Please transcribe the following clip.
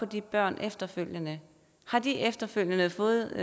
de børn efterfølgende har de efterfølgende fået